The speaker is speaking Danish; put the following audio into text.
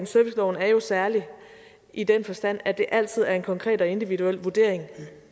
serviceloven jo er særlig i den forstand at det altid er en konkret og individuel vurdering